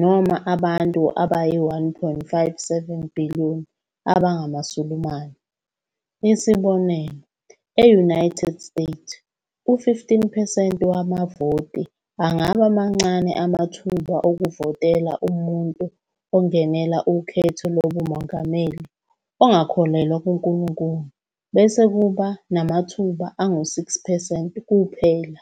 noma abantu abayi-1.57 billion abangamaSulumane. Isibonelo, e-United States, u-51 percent wabavoti angaba mancane amathuba okuvotela umuntu ozongenela ukhetho lobumongameli ongakholelwa kuNkulunkulu, bese kuba namathuba angu-6 percent kuphela.